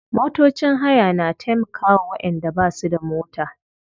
Motocin haya na taimkawa wayanda basu da mota.